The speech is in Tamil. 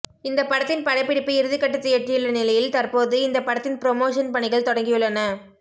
இந்த படத்தின் படப்பிடிப்பு இறுதிகட்டத்தை எட்டியுள்ள நிலையில் தற்போது இந்த படத்தின் புரமோஷன் பணிகள் தொடங்கியுள்ளன